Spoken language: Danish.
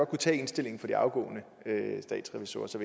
kunne tage indstillingen fra de afgående statsrevisorer og så